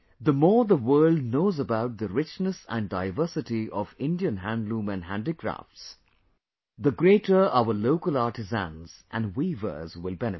The more the world knows about the richness and diversity of Indian handloom and handicrafts, the greater our local artisans and weavers will benefit